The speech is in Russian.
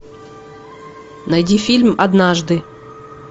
найди фильм однажды